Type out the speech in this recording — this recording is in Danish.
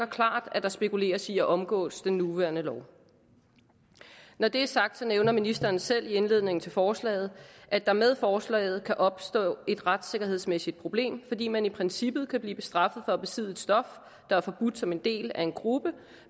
klart at der spekuleres i at omgås den nuværende lov når det er sagt så nævner ministeren selv i indledningen til forslaget at der med forslaget kan opstå et retssikkerhedsmæssigt problem fordi man i princippet kan blive straffet for at besidde et stof der er forbudt som en del af en gruppe